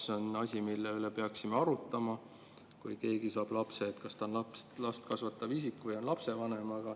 See on asi, mille üle peaksime arutama, et kui keegi saab lapse, siis kas ta on last kasvatav isik või lapsevanem.